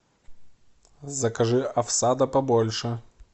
закажи овса да побольше